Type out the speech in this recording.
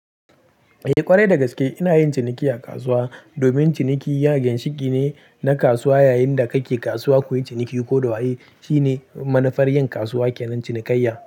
Eh ƙwarai dagaske ina yin ciniki a kasuwa. Domin ciniki ya ginshiki ne na kasuwa. Yayin da kake kasuwa kuyi ciniki ko da waye shine manufar yin kasuwa kenan cinikayya.